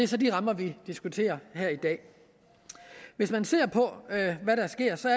så de rammer vi diskuterer her i dag hvis man ser på hvad der sker ser